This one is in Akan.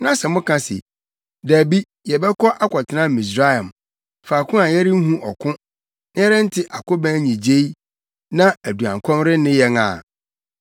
na sɛ moka se, ‘Dabi, yɛbɛkɔ akɔtena Misraim, faako a yɛrenhu ɔko, na yɛrente akobɛn nnyigyei na aduankɔm renne yɛn a,’